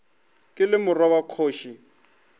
ke le morwa wa kgoši